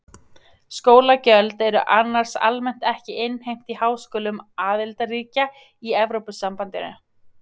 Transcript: skólagjöld eru annars almennt ekki innheimt í háskólum aðildarríkja í evrópusambandinu